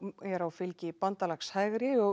á fylgi bandalags hægri og